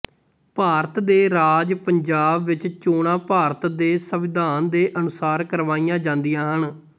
ਭਾਰਤ ਦੇ ਰਾਜ ਪੰਜਾਬ ਵਿਚ ਚੋਣਾਂ ਭਾਰਤ ਦੇ ਸੰਵਿਧਾਨ ਦੇ ਅਨੁਸਾਰ ਕਰਵਾਈਆਂ ਜਾਂਦੀਆਂ ਹਨ